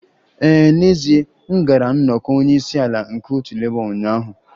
Ee, n'ezie m gara nnọkọ onye isi ala nke otu Labour ụnyaahụ